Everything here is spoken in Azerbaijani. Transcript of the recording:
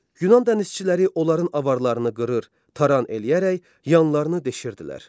Yunan dənizçiləri onların avarlarını qırır, taran eləyərək yanlarını deşirdilər.